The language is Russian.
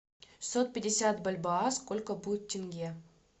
шестьсот пятьдесят бальбоа сколько будет тенге